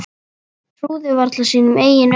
Trúði varla sínum eigin augum.